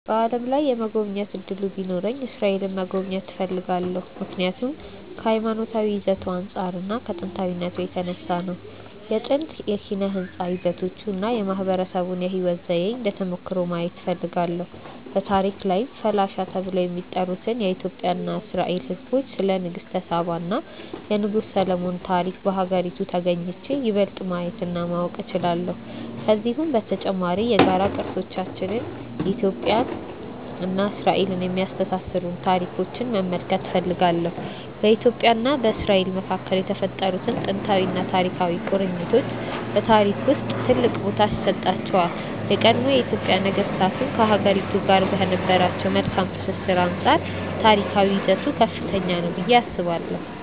በዓለም ላይ የመጎብኘት እድሉ ቢኖረኝ እስራኤልን መጎብኘት እፈልጋለሁ። ምክንያቱም ከሀይማኖታዊ ይዘቱ አንፃር እና ከጥንታዊነቱ የተነሳ ነው። የጥንት ኪነ ህንፃ ይዘቶቹን እና የማህበረሰቡን የህይወት ዘዬ እንደ ተሞክሮ ማየት እፈልጋለሁ። በታሪክ ላይም ፈላሻ ተብለው ስለሚጠሩት የኢትዮጵያ እና የእስራኤል ህዝቦች፣ ስለ ንግስተ ሳባ እና የንጉስ ሰሎሞን ታሪክ በሀገሪቱ ተግኝቼ ይበልጥ ማየት እና ማወቅ እችላለሁ። ከዚሁም በተጨማሪ የጋራ ቅርሶቻችንን እና ኢትዮጵያን እና እስራኤልን የሚያስተሳስሩንን ታሪኮች መመልከት እፈልጋለሁ። በኢትዮጵያ እና በእስራኤል መካከል የተፈጠሩት ጥንታዊና ታሪካዊ ቁርኝቶች በታሪክ ውስጥ ትልቅ ቦታ ይሰጣቸዋል። የቀድሞ የኢትዮጵያ ነገስታትም ከሀገሪቱ ጋር ከነበራቸው መልካም ትስስር አንፃር ታሪካዊ ይዘቱ ከፍተኛ ነው ብዬ አስባለሁ።